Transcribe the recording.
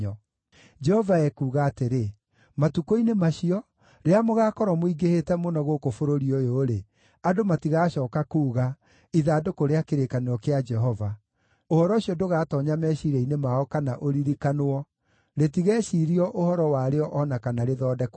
Jehova ekuuga atĩrĩ: “Matukũ-inĩ macio, rĩrĩa mũgaakorwo mũingĩhĩte mũno gũkũ bũrũri ũyũ-rĩ, andũ matigacooka kuuga, ‘Ithandũkũ rĩa kĩrĩkanĩro kĩa Jehova.’ Ũhoro ũcio ndũgatoonya meciiria-inĩ mao kana ũririkanwo; rĩtigeciirio ũhoro warĩo o na kana rĩthondekwo rĩngĩ.